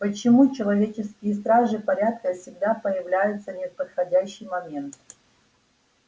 почему человеческие стражи порядка всегда появляются в неподходящий момент